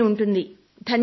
ధన్యవాదాలు అని